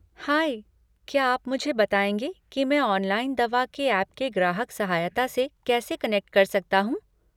High, क्या आप मुझे बताएंगे कि मैं ऑनलाइन दवा के ऐप के ग्राहक सहायता से कैसे कनेक्ट कर सकता हूँ?